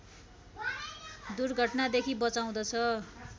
दुर्घटनादेखि बचाउँदछ